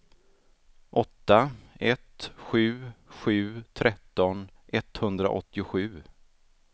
åtta ett sju sju tretton etthundraåttiosju